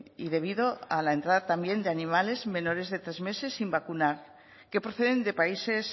y debido a la entrada también de animales menores de tres meses sin vacunar que proceden de países